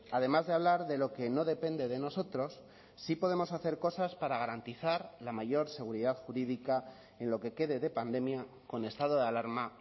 además de hablar de lo que no depende de nosotros sí podemos hacer cosas para garantizar la mayor seguridad jurídica en lo que quede de pandemia con estado de alarma